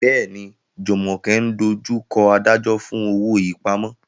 Bẹ́ẹ̀ni, Jumoke ń dojú kọ adájọ́ fún owó ìpamọ́.